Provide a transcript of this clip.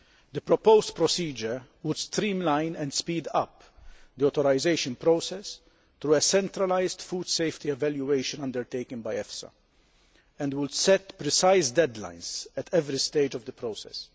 The proposed procedure would streamline and speed up the authorisation process through a centralised food safety evaluation undertaken by EFSA, and would set precise deadlines at every stage of the process.